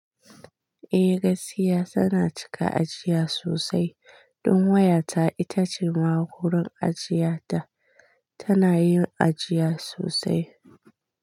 Eh, Gasya tana cika ajiya sosai. Don wayata ita ce magurin ajiya ta, tana yin ajiya sosai.